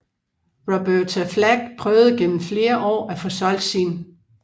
Roberta Flack prøvede gennem flere år at få solgt sin